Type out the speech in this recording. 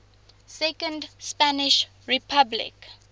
second spanish republic